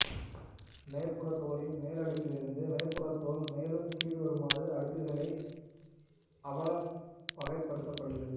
மேற்புறத்தோலின் மேலடுக்கிலிருந்து மேற்புறத்தோல் மேலும் கீழ்வருமாறு அடுக்குகளாக அ படலமாக வகைப்படுத்தப்படுகிறது